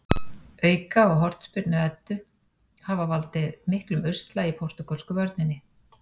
Auka- og hornspyrnu Eddu hafa valdið miklum usla í portúgölsku vörninni.